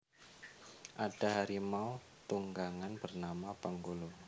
Ada harimau tunggangan bernama Penggolo